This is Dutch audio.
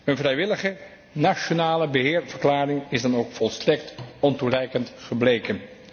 Een vrijwillige nationale beheerverklaring is dan ook volstrekt ontoereikend gebleken.